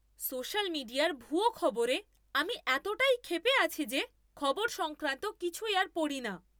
Social মিডিয়ার ভুয়ো খবরে আমি এতটাই ক্ষেপে আছি যে খবর সংক্রান্ত কিছুই আর পড়ি না!